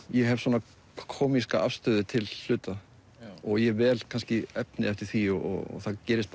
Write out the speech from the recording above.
ég hef svona kómíska afstöðu til hluta og ég vel kannski efni eftir því og það gerist